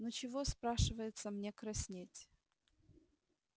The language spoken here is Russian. ну чего спрашивается мне краснеть